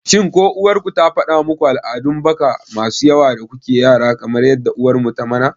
shin ko uwar ku ta faɗa muku al'adun baka masu yawa da kuke yara kamar yadda uwar mu ta mana?